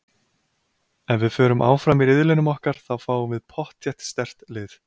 Ef við förum áfram í riðlinum okkar þá fáum við pottþétt sterkt lið.